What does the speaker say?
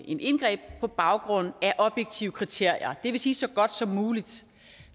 indgreb på baggrund af objektive kriterier det vil sige så godt som muligt